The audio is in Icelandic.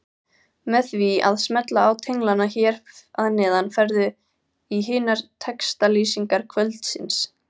Með því að smella á tenglana hér að neðan ferðu í hinar textalýsingar kvöldsins.